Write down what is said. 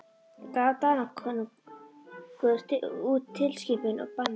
Gaf Danakonungur út tilskipun og bannaði